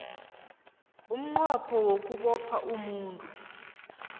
umnqopho wokubopha umuntu